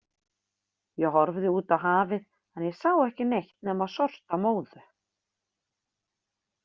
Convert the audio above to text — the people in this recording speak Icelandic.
Ég horfði út á hafið en ég sá ekki neitt nema sortamóðu.